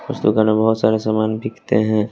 उस दुकान मे बहोत सारे सामान बिकते हैं।